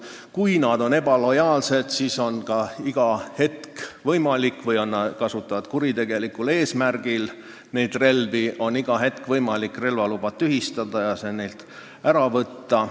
Kui nad on ebalojaalsed või kasutavad relva kuritegelikul eesmärgil, siis on iga hetk võimalik relvaluba tühistada ja see neilt ära võtta.